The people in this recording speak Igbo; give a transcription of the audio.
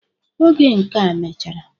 Oge nkea mechara..